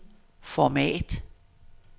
format